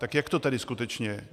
Tak jak to tedy skutečně je?